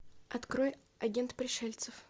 открой агент пришельцев